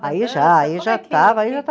Aí já, aí já estava, aí já